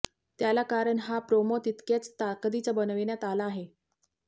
त्याला कारण हा प्रोमो तितक्याच ताकदीचा बनविण्यात आला आहे